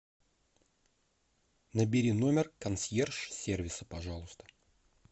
набери номер консьерж сервиса пожалуйста